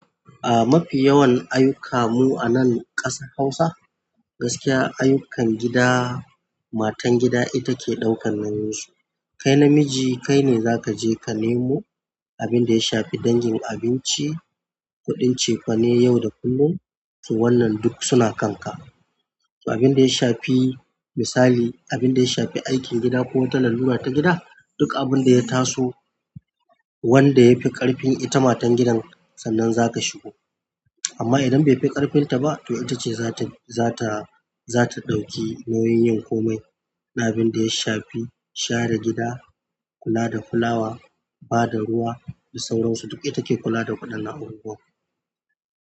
A mafi yawan ayuka mu a nan ƙasa Hausa, gaskiya ayukan gida matan gida ita ke ɗaukan nauyin su. Kai namiji kai ne za ka je ka nemo abinda yashafi dangin abinci kuɗin cefene yau da kullum to wannan duk yana kanka to abin da ya shafi misali, abin da ya shafi aikin gida ko wata lalluna ta gida, duk abin da ya taso wanda yafi ƙarfin ita matan gidan sannan za ka shigo. Amma idan bai fi ƙarfinta ba, to ita ce za ta, za ta, za ta ɗauki nauyin yin komai, abin da ya shafi share gida, kula da fulawa, bada ruwa da sauransu duk ita ke kula da kuɗin abubuwan.